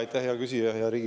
Aitäh, Riigikogu esimees!